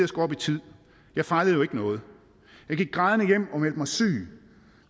skulle op i tid jeg fejlede jo ikke noget jeg gik grædende hjem og meldte mig syg